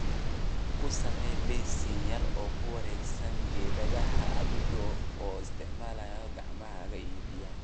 Ku samee basin yar oo ku wareegsan geedaha adiga oo isticmaalaya gacmahaaga iyo biyaha.